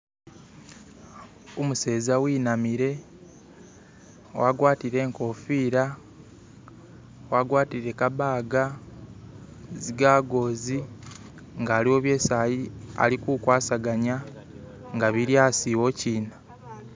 Umuseza inamile agwatile inkofila, agwatile kabaga zigagoz nga waliwo byesi alikuwambaganisa nga bili asiwokina